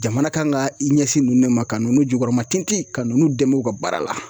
Jamana kan ka i ɲɛsin nunnu de ma ka nu jukɔrɔmatintin ka nunnu dɛmɛ u ka baara la.